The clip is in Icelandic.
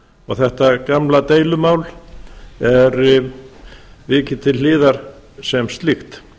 og þetta gamla deilumál er vikið til hliðar sem slíkt